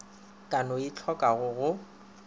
ka no e tlhokago go